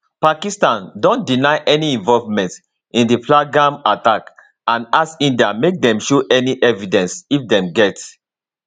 pakistan don deny any involvement in di pahalgam attack and ask india make dem show any evidence if dem get